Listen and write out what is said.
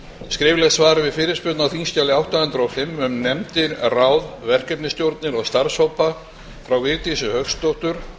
skriflegt svar við fyrirspurn á þingskjali átta hundruð og fimm um nefndir ráð verkefnisstjórnir og starfshópa frá vigdísi hauksdóttur